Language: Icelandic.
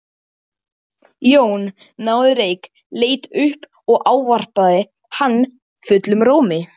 Arnór, hringdu í Júst eftir sextíu og fjórar mínútur.